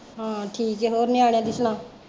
ਹਾਂ ਠੀਕ ਐ ਹੋਰ ਨਿਆਣਿਆ ਦੀ ਸੁਣਾ